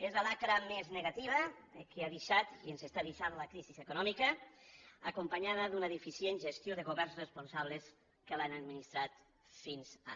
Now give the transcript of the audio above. és la xacra més negativa que ha deixat i ens està deixant la crisi econòmica acompanyada d’una deficient gestió de governs responsables que l’han administrat fins ara